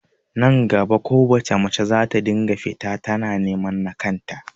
Nan gaba kowace mace zata dinga fita tana neman nakan ta